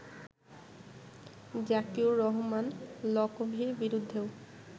জাকিউর রহমান লকভির বিরুদ্ধেও